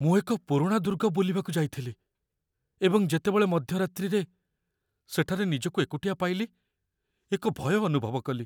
ମୁଁ ଏକ ପୁରୁଣା ଦୁର୍ଗ ବୁଲିବାକୁ ଯାଇଥିଲି, ଏବଂ ଯେତେବେଳେ ମଧ୍ୟରାତ୍ରିରେ ସେଠାରେ ନିଜକୁ ଏକୁଟିଆ ପାଇଲି, ଏକ ଭୟ ଅନୁଭବ କଲି।